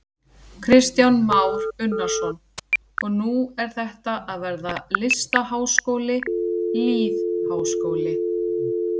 Kristján Már Unnarsson: Og nú er þetta að verða listaháskóli, lýðháskóli?